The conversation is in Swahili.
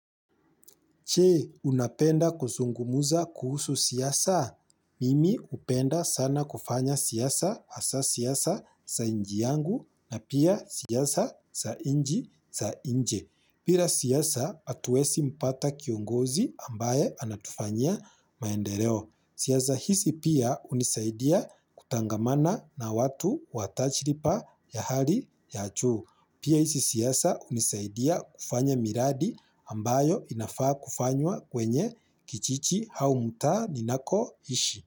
Che unapenda kuzungumuza kuhusu siasa? Mimi hupenda sana kufanya siasa hasa siasa za inji yangu na pia siasa sa inji za inje. Pira siasa hatuesi mpata kiongozi ambaye anatufanyia maendereo. Siasa hizi pia hunisaidia kutangamana na watu wa tajiripa ya hali ya achu. Pia hisi siasa hunisaidia kufanya miradi ambayo inafaa kufanywa kwenye kichichi hsu mtaa ninako ishi.